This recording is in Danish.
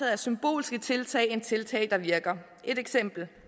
af symbolske tiltag end af tiltag der virker et eksempel er